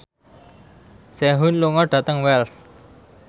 Sehun lunga dhateng Wells